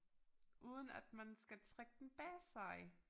Uden at man skal trække den bag sig